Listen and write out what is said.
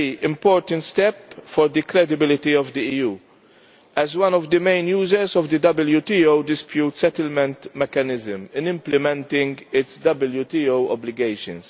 a very important step for the credibility of the EU, as one of the main users of the WTO Dispute Settlement Mechanism, in implementing its WTO obligations.